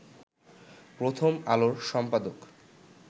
‘প্রথম আলো’র সম্পাদক